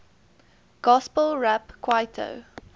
gospel rap kwaito